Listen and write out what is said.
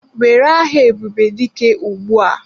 Were aha Ebubedike ugbu a!